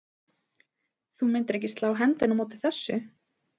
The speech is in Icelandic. Þú myndir ekki slá hendinni á móti þessu?